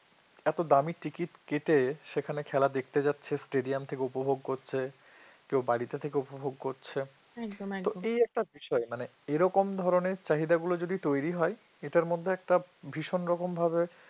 এত দামি ticket কেটে সেখানে খেলা দেখতে যাচ্ছে stadium থেকে উপভোগ করছে কেউ বাড়ি থেকে উপভোগ করছে তো একটা বিষয়ে এরকম ধরনের চাহিদাগুলো যদি তৈরি হয় এটার মধ্যে একটা ভীষণ রকম ভাবে